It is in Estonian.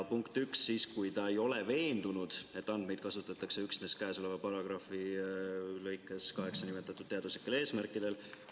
Punkt 1, siis, kui ta ei ole veendunud, et andmeid kasutatakse üksnes käesoleva paragrahvi lõikes 8 nimetatud teaduslikel eesmärkidel.